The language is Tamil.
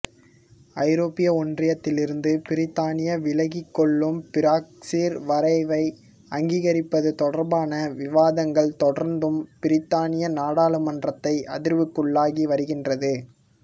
ஐரோப்பிய ஒன்றியத்திலிருந்து பிரித்தானியா விலகிகொள்ளும் பிரெக்சிற் வரைவை அங்கீகரிப்பது தொடர்பான விவாதங்கள் தொடர்ந்தும் பிரித்தானிய நாடாளுமன்றத்தை அதிர்வுக்குள்ளாக்கி வருகின்றது